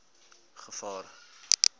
gevaar